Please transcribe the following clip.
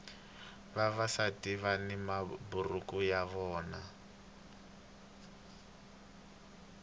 vavasati vani maburuku ya vona